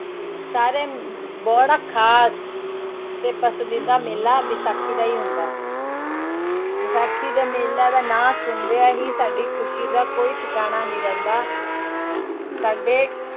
ਸਾਰੇ ਬੜਾ ਖ਼ਾਸ ਤੇ ਪਸੰਦੀਦਾ ਮੇਲਾ ਵਿਸਾਖੀ ਦਾ ਹੀ ਹੁੰਦਾ ਹੈ ਵਿਸਾਖੀ ਦਾ ਮੇਲਾ ਦਾ ਨਾਂ ਸੁਣਦਿਆਂ ਹੀ ਸਾਡੀ ਖ਼ੁਸ਼ੀ ਦਾ ਕੋਈ ਠਿਕਾਣਾ ਨਹੀਂ ਰਹਿੰਦਾ ਸਾਡੇ